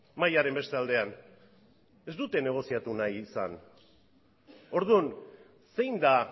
mahaiaren beste aldean ez dute negoziatu nahi izan orduan zein da